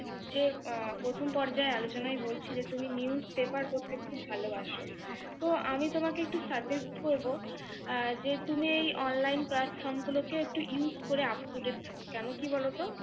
যে আহ প্রথম পর্যায়ের আলোচনায় বলছিলে, তুমি news paper পড়তে খুব ভালোবাসো, তো আমি তোমাকে একটু suggest করব আহ যে, তুমি এই online platform একটু use করে up to date থাকবো কেন কি বলতো